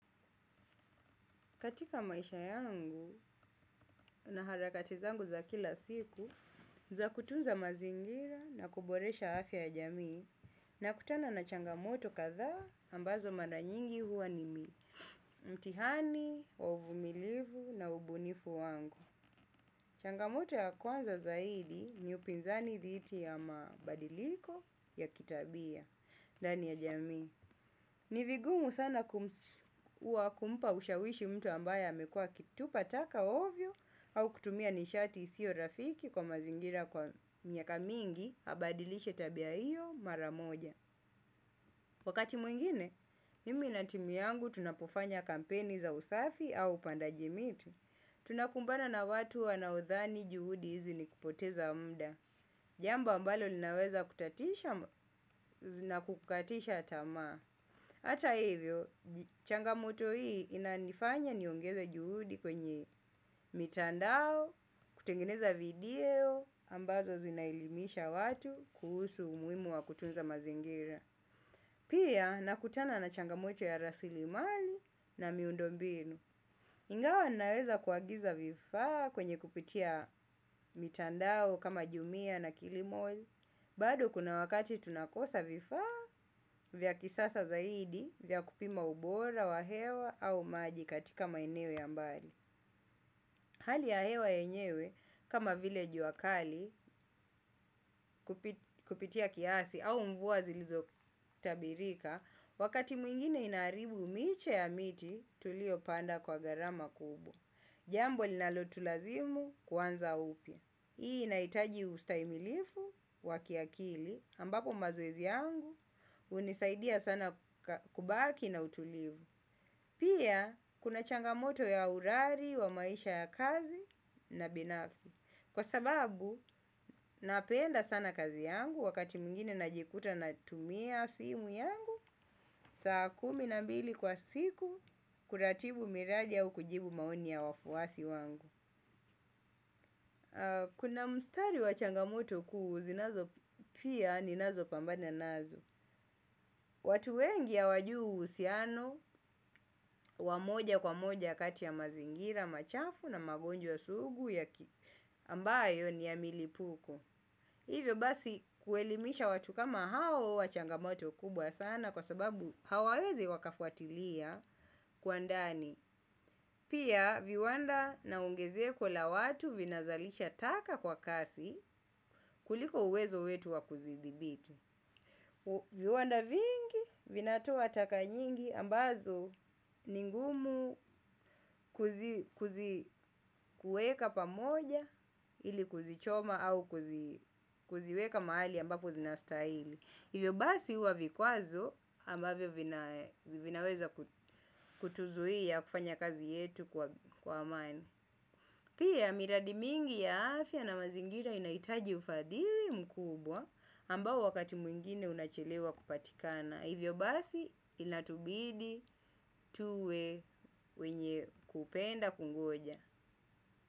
Katika maisha yangu na harakati zangu za kila siku, za kutunza mazingira na kuboresha hafya ya jamii nakutana na changamoto kadhaa ambazo mara nyingi huwa ni mi, mtihani, ovumilivu na ubunifu wangu. Changamoto ya kwanza zaidi ni upinzani dhiti ya mabadiliko ya kitabia, dani ya jamii. Nivigumu sana kumpa ushawishi mtu ambaya amekua akitupa taka ovyo au kutumia nishati isio rafiki kwa mazingira kwa miaka mingi abadilishe tabia iyo maramoja. Wakati mwingine, mimi na timu yangu tunapufanya kampeni za usafi au upandaji miti. Tunakumbana na watu wanaudhani juhudi hizi nikupoteza muda. Jamba ambalo linaweza kutatisha na kukatisha tamaa. Hata hivyo, changamoto hii inanifanya niongeza juhudi kwenye mitandao, kutengeneza video, ambazo zinaelimisha watu kuhusu umuhimu wa kutunza mazingira. Pia, nakutana na changamoto ya rasilimali na miundombinu. Ingawa naweza kuagiza vifa kwenye kupitia mitandao kama jumia na kilimall. Bado kuna wakati tunakosa vifaa vya kisasa zaidi vya kupima ubora wa hewa au maji katika maeneo ya mbali. Hali ya hewa enyewe kama vile juakali kupitia kiasi au mvua zilizo tabirika, wakati mwingine inaribu miche ya miti tulio panda kwa gharama kubwa. Jambo linalotulazimu kuanza upya. Hiii inahitajii ustahimilivu wa kiakili ambapo mazoezi yangu unisadia sana kubaki na utulivu. Pia kuna changamoto ya urari, wa maisha ya kazi na binafsi. Kwa sababu napenda sana kazi yangu wakati mwingine najikuta na tumia simu yangu, saa kumi na mbili kwa siku kuratibu miraji au kujibu maoni ya wafuwasi wangu. Kuna mstari wa changamoto kuu zinazo pia ninazo pambana nazo. Watu wengi hawajui usiano wa moja kwa moja kati ya mazigira machafu na magojwa sugu ambayo ni ya milipuko. Hivyo basi kuelimisha watu kama huwa changamoto kubwa sana kwa sababu hawawezi wakafuatilia kwa ndani. Pia viwanda na ungezeko la watu vinazalisha taka kwa kasi kuliko uwezo wetu wa kuzidhibiti. Viwanda vingi vinatoa taka nyingi ambazo ningumu kuzi kueka pamoja ili kuzichoma au kuziweka mahali ambapo zinastaili. Hivyo basi uwa vikuazo ambavyo vinaweza kutuzuia kufanya kazi yetu kwa amani. Pia miradi mingi ya afya na mazingira inaitaji ufadhili mkubwa ambao wakati mwingine unachelewa kupatikana. Hivyo basi inatubidi tuwe wenye kupenda kungoja.